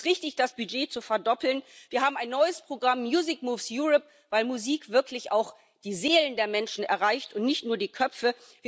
Deswegen ist es richtig, das Budget zu verdoppeln. Wir haben ein neues Programm Music Moves Europe weil Musik wirklich auch die Seelen der Menschen erreicht und nicht nur die Köpfe.